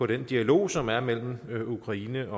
den dialog som er mellem ukraine